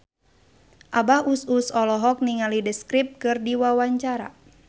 Abah Us Us olohok ningali The Script keur diwawancara